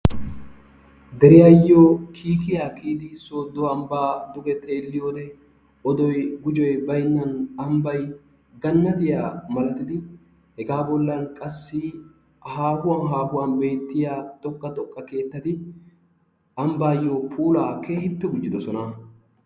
Deriyaayoo kiikiya kiyidi soodo ambaa duge xeeliyode odoy gujjoy baynan ambay ganattiya malatidi hegaa bollan qassi haahuwan haahuwan beetiya xoqa xoqqa keettati ambaayoo puulaa keehippe gujjiddosona.